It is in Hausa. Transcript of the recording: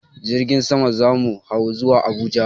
Jirgin sama za mu hau zuwa Abuja.